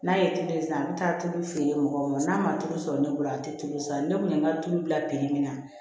N'a ye tulu san an bɛ taa tulu feere mɔgɔw ma n'a ma tulu sɔrɔ ne bolo a tɛ tulu san ne kun ye n ka tulu bila min na